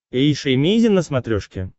эйша эмейзин на смотрешке